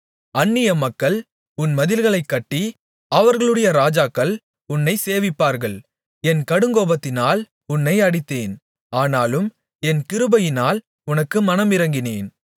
அந்நியமக்கள் உன் மதில்களைக் கட்டி அவர்களுடைய ராஜாக்கள் உன்னைச் சேவிப்பார்கள் என் கடுங்கோபத்தினால் உன்னை அடித்தேன் ஆனாலும் என் கிருபையினால் உனக்கு மனமிரங்கினேன்